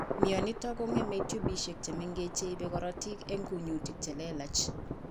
Myonitok kong'eme tubisiek chemengech cheibe korotik en kunyutik chelelach